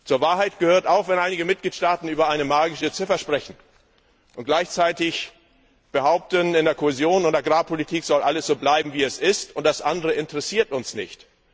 Zur Wahrheit gehört auch, dass einige Mitgliedstaaten über eine magische Ziffer sprechen und gleichzeitig fordern, in der Kohäsions und Agrarpolitik soll alles so bleiben wie es ist, und das andere interessiert uns nicht.